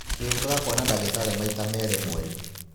Ũrĩũkaga kũona ndagitarĩ maita merĩ mweri.